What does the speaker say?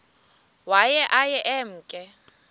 waye aye emke